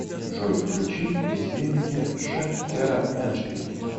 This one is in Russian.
джой включи бездельники ш кера эндшпиль